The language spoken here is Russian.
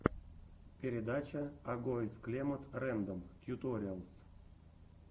передача агоез клемод рэндом тьюториалс